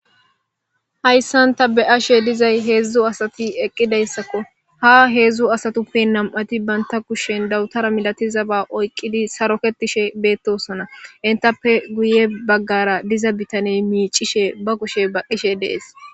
Hayssanta be ashe dizay heedzdzu asati eqqidayssakko ha heedzdzu asatuppe nam'ati baynta kushshen dawutara milatizaba oyqqidi saroketishe beettosona intappe guye baggara diza bitaney miicishe ba kushe baqqishe dees.